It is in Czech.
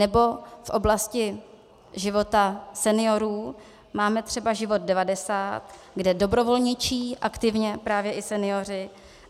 Nebo v oblasti života seniorů máme třeba Život 90, kde dobrovolničí aktivně právě i senioři.